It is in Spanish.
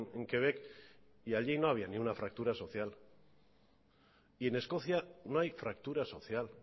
en quebec y allí no había ni una fractura social y en escocia no hay fractura social